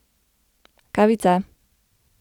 Kavica!